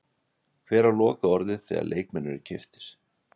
Hver á lokaorðið þegar leikmenn eru keyptir?